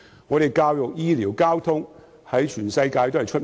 我們的教育、醫療、交通在全世界都很有名。